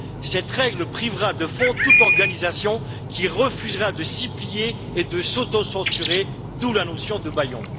Cette règle privera de fonds toute organisation qui refusera de s'y plier et de s'autocensurer, d'où la notion de bâillon.